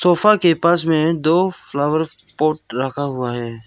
Sofa के पास में दो फ्लावर पॉट रखा हुआ है।